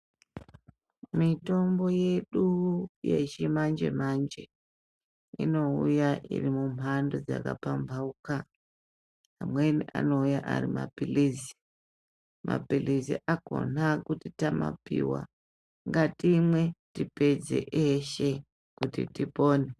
Mitombo yedu yechi manje manje inouya iri mu mhando dzaka pambauka amweni anouya ari mapilizi mapilizi akona kuti tama piwa ngatimwe tipedze eshe kuti tipone.